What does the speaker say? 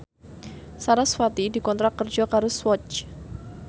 sarasvati dikontrak kerja karo Swatch